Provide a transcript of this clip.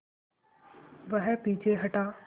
वह पीछे हटा